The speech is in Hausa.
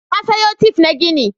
Na sayo tif na gini.